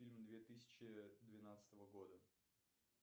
фильм две тысячи двенадцатого года